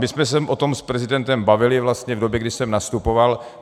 My jsme se o tom s prezidentem bavili vlastně v době, kdy jsem nastupoval.